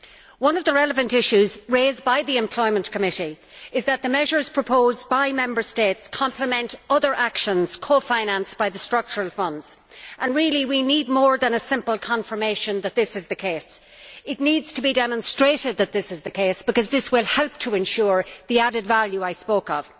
One of the relevant issues raised by the Committee on Employment is that the measures proposed by Member States complement other actions cofinanced by the Structural Funds, and really we need more than a simple confirmation that this is the case. It needs to be demonstrated that this is the case, because this will help to ensure the added value I spoke of.